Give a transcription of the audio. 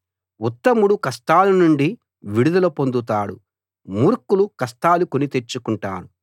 ఉత్తముడు కష్టాల నుండి విడుదల పొందుతాడు మూర్ఖులు కష్టాలు కొనితెచ్చుకుంటారు